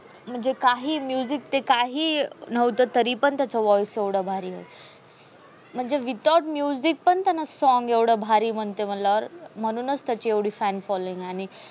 म्हणजे काही music ते काही ही नवत तरी पण voice त्याचा एवडा भारी होता. म्हणजे without music पण song एवड भारी मनते मनल अर म्हणूनस त्याचे एवडे fan following आणि